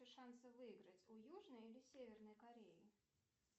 шансы выиграть у южной или северной кореи